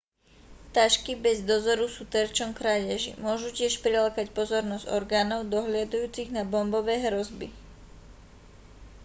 tašky bez dozoru sú terčom krádeží môžu tiež prilákať pozornosť orgánov dohliadajúcich na bombové hrozby